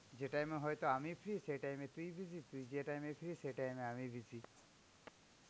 যে time হইতো আমি হইতো আমি free সেই time এ তুই busy যে time তুই free সেই time এ আমি busy.